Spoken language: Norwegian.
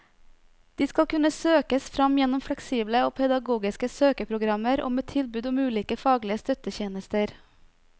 De skal kunne søkes fram gjennom fleksible og pedagogiske søkeprogrammer og med tilbud om ulike faglige støttetjenester.